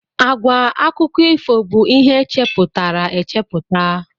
Àgwà akụkọ ifo bụ ihe e chepụtara echepụta.